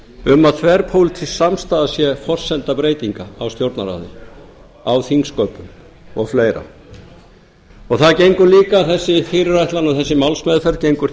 um að þverpólitísk samstaða sé forsenda breytinga á stjórnarráðinu á þingsköpum og fleira það gengur líka þessi fyrirætlan og þessi málsmeðferð gengur